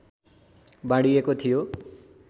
बाँडिएको थियो